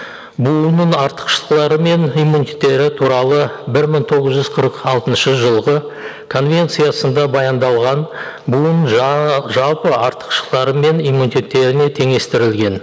бұл ұйымның артықшылықтары мен иммунитеттері туралы бір мың тоғыз жүз қырық алтыншы жылғы конвенциясында баяндалған бұның жалпы артықшылықтары мен иммунитеттеріне теңестірілген